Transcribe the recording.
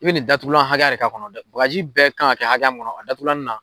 I bɛ nin datugulan hakɛya de ka kɔnɔ dɛ, bagaji bɛɛ kan ka kɛ hakɛya min kɔnɔ a datugulanin na.